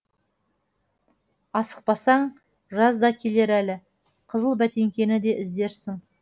асықпасаң жаз да келер әлі қызыл бәтеңкені де іздерсің